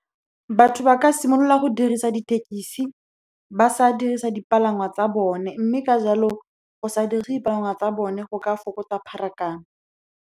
Batho ba ka simolola go dirisa dithekesi ba sa dirisa dipalangwa tsa bone, mme ka jalo go sa tsa bone go ka fokotsa pharakano.